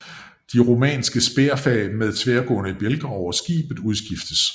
De romanske spærfag med tværgående bjælker over skibet udskiftes